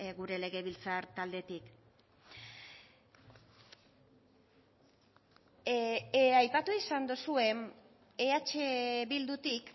gure legebiltzar taldetik aipatu izan dozue eh bildutik